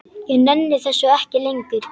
Ég nenni þessu ekki lengur.